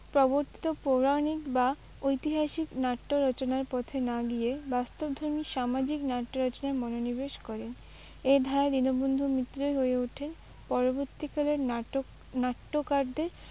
প্রবর্তক পৌরাণিক বা ঐতিহাসিক নাট্যরচনার পথে না গিয়ে বাস্তবধর্মী সামাজিক নাট্যরচনায় মনোনিবেশ করেন। এই ধারায় দীনবন্ধু মিত্রই হয়ে ওঠেন পরবর্তীকালের নাটক, নাট্যকারদের